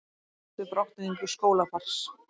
Ósátt við brottvikningu skólabarns